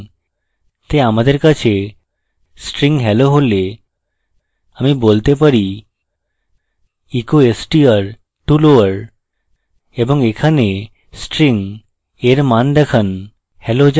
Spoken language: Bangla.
তাই আমাদের কাছে string hello হলে আমি বলতে পারি echo str to lower এবং এখানে string এর মান দেখান